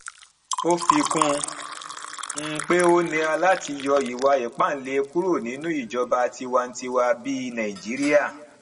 ó fi kún un pé ó nira láti yọ ìwà ipáǹle kúrò nínú ìjọba tiwantiwa bíi nàìjíríà